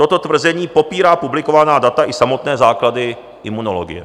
Toto tvrzení popírá publikovaná data i samotné základy imunologie.